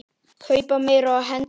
Kaupa meira og hendum meiru.